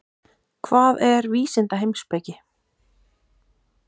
Hvað er vísindaheimspeki?